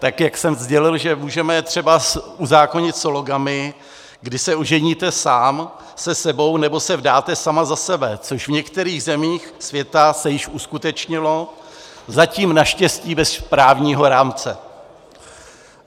Tak jak jsem sdělil, že můžeme třeba uzákonit sologamii, kdy se oženíte sám se sebou, nebo se vdáte sama za sebe, což v některých zemích světa se již uskutečnilo, zatím naštěstí bez právního rámce.